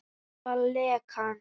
Stöðva lekann.